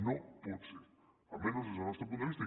no pot ser almenys des del nostre punt de vista